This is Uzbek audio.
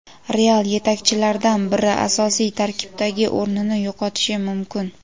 "Real" yetakchilaridan biri asosiy tarkibdagi o‘rnini yo‘qotishi mumkin.